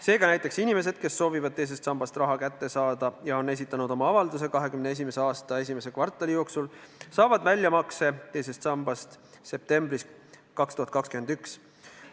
Seega näiteks inimesed, kes soovivad teisest sambast raha kätte saada ja on esitanud oma avalduse 2021. aasta esimese kvartali jooksul, saavad väljamakse teisest sambast septembris 2021.